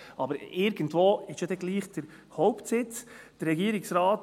Aber irgendwo wird gleichwohl der Hauptsitz stehen.